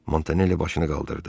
Montanelli başını qaldırdı.